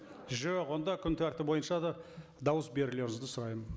жоқ онда күн тәртібі бойынша да дауыс берулеріңізді сұраймын